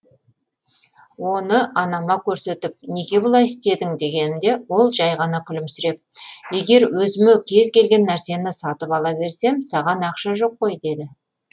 оны анама көрсетіп неге бұлай істедің дегенімде ол жәй ғана күлімсіреп егер өзіме кез келген нәрсені сатып ала берсем саған ақша жоқ қой деді